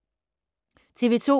TV 2